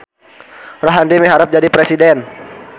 Rohadi miharep jadi presiden